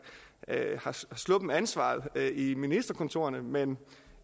har sluppet ansvaret i ministerkontorerne men